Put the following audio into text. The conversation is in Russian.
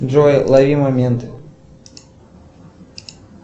джой лови момент